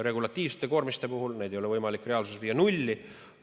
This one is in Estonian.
Regulatiivseid koormisi ei ole võimalik reaalsuses viia nulli.